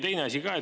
Teine asi ka.